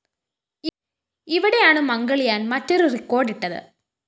ഇവിടെയാണ്‌ മംഗള്‍യാന്‍ മറ്റൊരു റെക്കോർഡ്‌ ഇട്ടത്